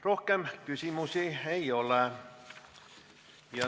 Rohkem küsimusi ei ole.